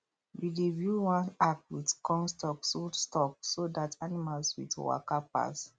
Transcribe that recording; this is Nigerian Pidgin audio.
we dey build one arch with corn stalk so stalk so that animals with waka pass